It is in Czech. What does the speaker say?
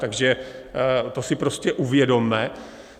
Takže to si prostě uvědomme.